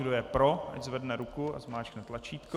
Kdo je pro, ať zvedne ruku a zmáčkne tlačítko.